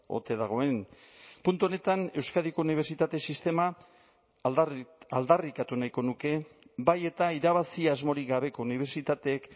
ote dagoen puntu honetan euskadiko unibertsitate sistema aldarrikatu nahiko nuke bai eta irabazi asmorik gabeko unibertsitateek